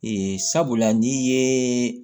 sabula n'i ye